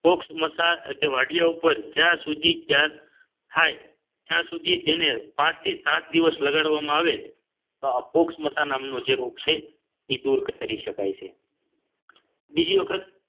ફૉક્ષ મસા કે વાઢીયા ઉપર જ્યાં સુધી થાય ત્યાં સુધી તેને પાંચથી સાત દિવસ લગાડવામાં આવે તો ફૉક્ષ મસા નામનો જે રોગ છે એ દૂર કરી શકાય છે બીજી વખત